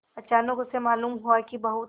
अचानक उसे मालूम हुआ कि बहुत